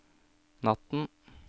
natten